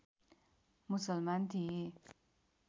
मुसलमान थिए